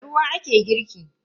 Da ruwa ake girki.